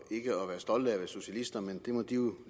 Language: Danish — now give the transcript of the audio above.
at være stolte af at være socialister men det må de jo